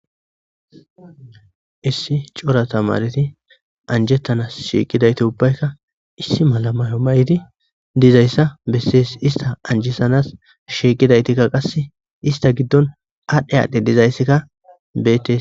Issi cora tamareti anjettanas shiiqidayti ubbaykka issi malamayo may7di dizayssa bessees ista anjesanas shiiqidaytikka qasse ista giddon aadhdhe aadhdhe dizayssekka bettes.